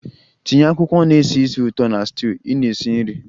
Tinye akwụkwọ na-esi ísì ụtọ na stew ị na-esi nri!